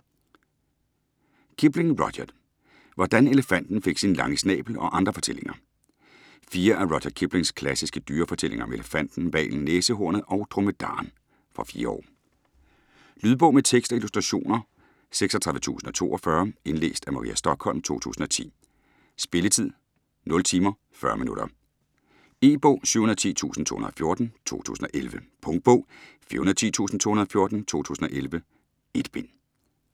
Kipling, Rudyard: Hvordan elefanten fik sin lange snabel og andre fortællinger Fire af Rudyard Kiplings klassiske dyrefortællinger om elefanten, hvalen, næsehornet og dromedaren. Fra 4 år. Lydbog med tekst og illustrationer 36042 Indlæst af Maria Stokholm, 2010. Spilletid: 0 timer, 40 minutter. E-bog 710214 2011. Punktbog 410214 2011. 1 bind.